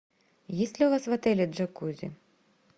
есть ли у вас в отеле джакузи